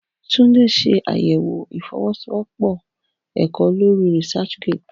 Tunde ṣe àyẹ̀wò ìfọwọ́sowọ́pọ̀ ẹ̀kọ́ lórí ResearchGate